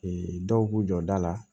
dɔw b'u jɔ da la